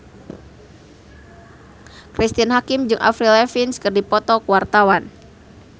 Cristine Hakim jeung Avril Lavigne keur dipoto ku wartawan